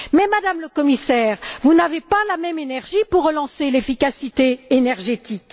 Madame le Commissaire, vous n'avez pas la même énergie pour relancer l'efficacité énergétique.